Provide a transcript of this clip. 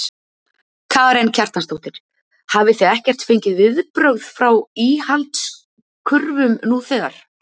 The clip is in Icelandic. Karen Kjartansdóttir: Hafið þið ekkert fengið viðbrögð frá íhaldskurfum nú þegar?